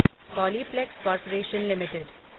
Polyplex corporation limited